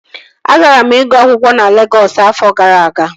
Agara m ịgụ akwụkwọ na Legọs afọ gara aga